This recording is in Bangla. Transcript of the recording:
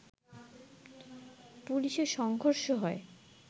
পুলিশের সংঘর্ষ হয়